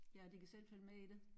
Ja og de kan selv følge med i det